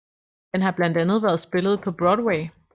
Den har blandt andet har været spillet på Broadway